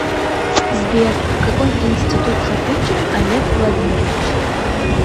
сбер какой институт закончил олег владимирович